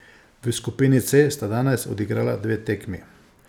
V skupini C sta danes odigrala dve tekmi.